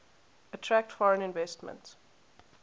attract foreign investment